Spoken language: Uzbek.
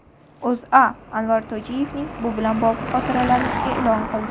O‘zA Anvar Tojiyevning bu bilan bog‘liq xotiralarini e’lon qildi .